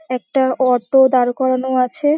একটা অটো দাঁড় করানো আছে।